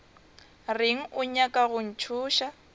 reng o nyaka go ntšhoša